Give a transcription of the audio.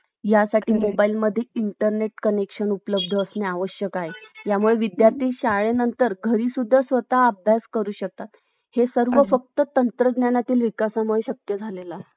यासाठी Mobile मध्ये Internet Connection उपलब्ध असणे आवश्यक आहे यामुळे विद्यार्थी शाळेनंतर घरी सुद्धा स्वतः अभ्यास करू शकतात हे सर्व फक्त तंत्रज्ञानातील विकासामुळे शक्य झालेलं आहे